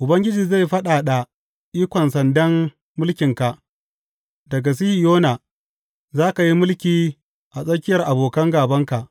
Ubangiji zai fadada ikon sandan mulkinka daga Sihiyona za ka yi mulki a tsakiyar abokan gābanka.